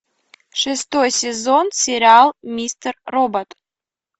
шестой сезон сериал мистер робот